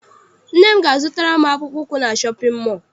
Nne m ga a zụtara m akpụkpọ ụkwụ na shọpịn mọọ.